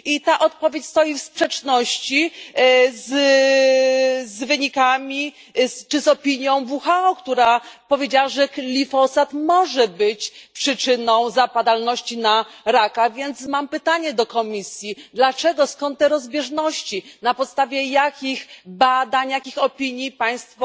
Ta odpowiedź stoi w sprzeczności z wynikami czy z opinią WHO, która powiedziała, że glifosat może być przyczyną zapadalności na raka, więc mam pytanie do Komisji dlaczego, skąd te rozbieżności, na podstawie jakich badań, jakich opinii Państwo